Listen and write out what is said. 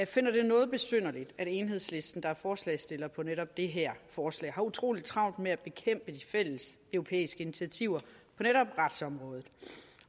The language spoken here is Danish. finder det noget besynderligt at enhedslisten der er forslagsstiller på netop det her forslag har utrolig travlt med at bekæmpe de fælles europæiske initiativer på netop retsområdet